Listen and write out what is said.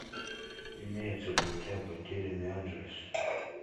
имеется ли у тебя потерянный анджелес